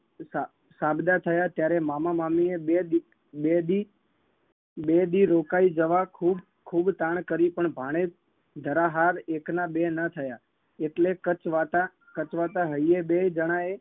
સા સાબદા થયા ત્યારે મામા મામીએ બે દી બે દી બે દી રોકાઈ જવા ખુબ ખુબ તાણ કરી પણ ભાણેજ જરા હાર એકના બે ન થયા એટલે કચવાતા કચવાતા હૈયે બેય જણાએ